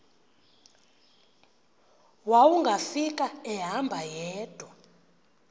wawungafika ehamba yedwa